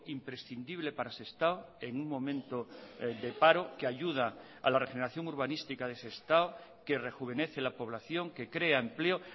imprescindible para sestao en un momento de paro que ayuda a la regeneración urbanística de sestao que rejuvenece la población que crea empleo